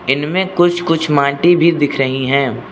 इनमें कुछ कुछ माटी भी दिख रही हैं।